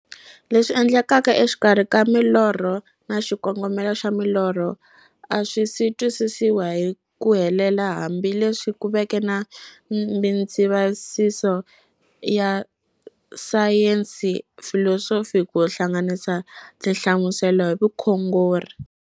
Leswi endlekaka exikarhi ka milorho na xikongomelo xa milorho a swisi twisisiwa hi ku helela, hambi leswi ku veke na mindzavisiso ya sayensi, filosofi ku hlanganisa na tinhlamuselo hi vukhongori.